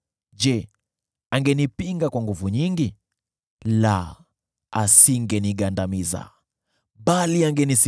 Je, angenipinga kwa nguvu nyingi? La, asingenigandamiza.